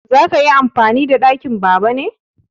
Za ka yi amfani da ɗakin Baba ne?